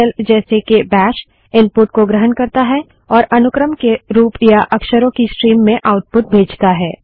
Linux shell जैसे के Bash input को ग्रहण करता है और अनुक्रम के रूप या अक्षरों की स्ट्रीम में आउटपुट भेजता है